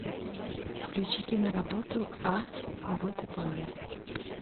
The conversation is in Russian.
включи киноработу а вот и полли